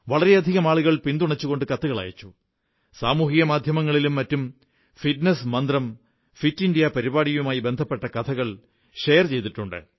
വളരെയധികം ആളുകൾ പിന്തുണച്ചുകൊണ്ട് കത്തുകളയച്ചു സാമൂഹിക മാധ്യമങ്ങളിലും തങ്ങളുടെ ഫിറ്റ്നസ് മന്ത്രം ഫിറ്റ് ഇന്ത്യ പരിപാടിയുമായി ബന്ധപ്പെട്ട കഥകൾ എന്നിവ പങ്കുവെച്ചിട്ടുണ്ട്